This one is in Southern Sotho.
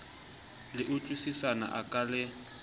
le utlwisisana a ka le